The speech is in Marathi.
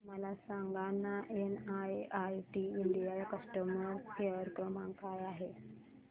मला सांगाना एनआयआयटी इंडिया चा कस्टमर केअर क्रमांक काय आहे